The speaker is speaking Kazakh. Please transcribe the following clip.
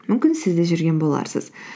мүмкін сіз де жүрген боларсыз